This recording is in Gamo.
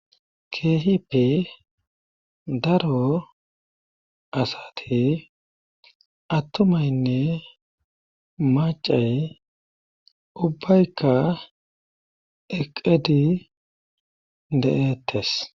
keehippe daro asati attomaynne macay ubbaykka eqedi de7ettes